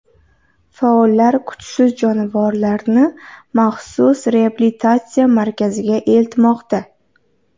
Faollar kuchsiz jonivorlarni maxsus reabilitatsiya markaziga eltmoqda.